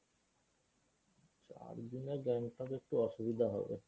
চারদিনে গ্যাংটক একটু অসুবিধা হবে।